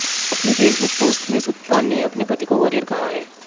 अपनी Facebook post में सुतपा ने अपने पति को वॉरियर कहा है